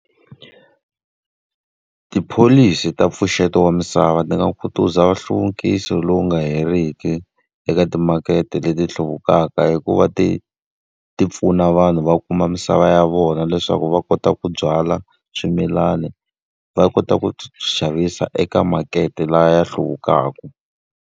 Tipholisi ta mpfuxeto wa misava ni nga khutaza nhluvukiso lowu nga heriki eka timakete leti hluvukaka hi ku va ti ti pfuna vanhu va kuma misava ya vona leswaku va kota ku byala swimilana, va kota ku swi xavisa eka makete leyi hluvukaka.